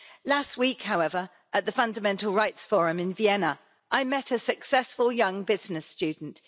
Last week, however, at the Fundamental Rights Forum in Vienna, I met a successful young business student.